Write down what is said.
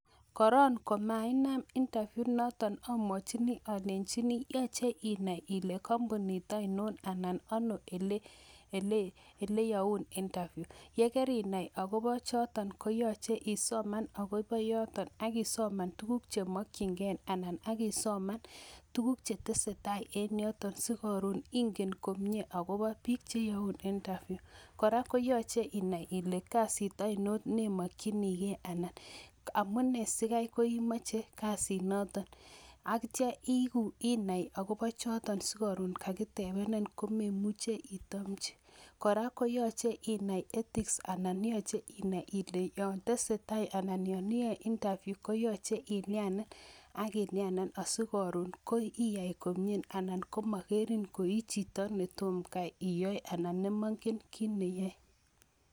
Korong komainam interview inoton amwachin alenjin yoche inai ile kampunit ainon anan ano eleyoun interview yekerinai akopo choto koyoche isoman akopo yoto akisoman tukuk chemokyingee anan akisoman tukuk cheteseitai en yoton sikoron ingen komie akopo biik cheyoun interview kora koyoche inai ile kasit ainon neimokyinige anan amunee sikai koimoche kasinoton akitai inai akopo choton sikoron kakitepen komemuche itomchi ,kora koyoche inai ethics anan yoche inai yon tesetai anan yon iyoe interview koyoche ilianen akilianen asikoron iyai komie asimokering koi chito netomo kai iyoe ana nemongen kitneyoe.